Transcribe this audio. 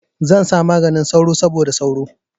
Zan sa maganin sauro saboda sauro.